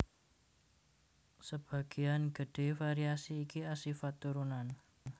Sebagéyan gedhé variasi iki asifat turunan